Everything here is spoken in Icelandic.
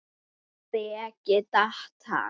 Breki: Datt hann?